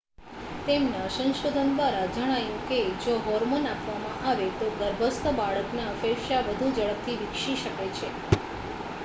તેમના સંશોધન દ્વારા જણાયું કે જો હોર્મોન આપવામાં આવે તો ગર્ભસ્થ બાળકના ફેફસાં વધુ ઝડપથી વિકસે છે